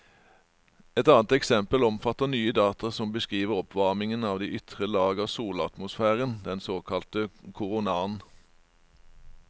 Et annet eksempel omfatter nye data som beskriver oppvarmingen av de ytre lag av solatmosfæren, den såkalte koronaen.